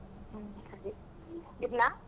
ಹ್ಮ್ ಇಡ್ಲಾ?